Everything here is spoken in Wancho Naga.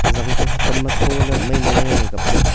zang chu hotom ma thola ley maimai ley ngan ang kapley.